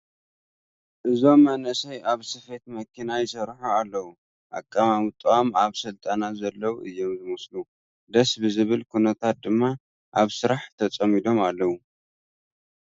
እዞም መናእሰይ ኣብ ስፌት መኪና ይሰርሑ ኣለዉ፡፡ ኣቐማምጥኦም ኣብ ስልጠና ዘለዉ እዮም ዝመስሉ፡፡ ደስ ብዝብል ኩነታት ድማ ኣብ ስራሕ ተፀሚዶም ኣለዉ፡፡